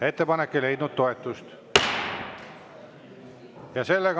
Ettepanek ei leidnud toetust.